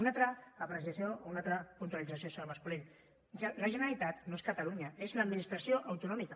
una altra apreciació una altra puntualització senyor mas colell la generalitat no és catalunya és l’administració autonòmica